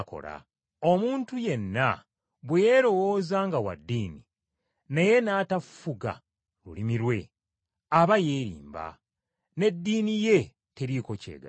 Omuntu yenna bwe yeerowooza nga wa ddiini, naye n’atafuga lulimi lwe, aba yeerimba, n’eddiini ye teriiko ky’egasa.